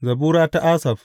Zabura ta Asaf.